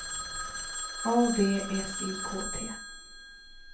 A V S I K T